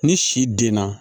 Ni si den na